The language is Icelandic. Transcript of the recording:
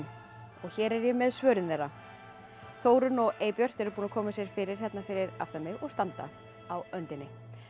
og hér er ég með svörin þeirra Þórunn og Eybjört eru búnar að koma sér fyrir hérna fyrir aftan mig og standa á öndinni